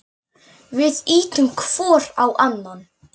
Við ýtum hvor á annan.